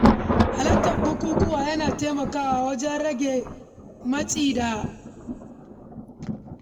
Halartar bukukuwa yana taimakawa wajen rage damuwa da matsin rayuwa.